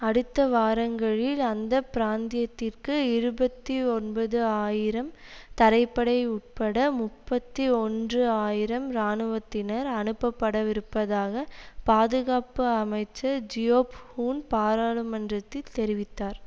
அடுத்த வாரங்களில் அந்த பிராந்தியத்திற்கு இருபத்தி ஒன்பது ஆயிரம் தரைப்படை உட்பட முப்பத்தி ஒன்று ஆயிரம் இராணுவத்தினர் அனுப்பப்படவிருப்பதாக பாதுகாப்பு அமைச்சர் ஜியோப் ஹூன் பாரளுமன்றத்தில் தெரிவித்தார்